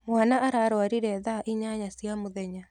Mwana ararwarire thaa inyanya cia mũthenya.